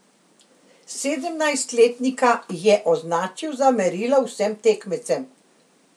Sedemnajstletnika je označil za merilo vsem tekmecem.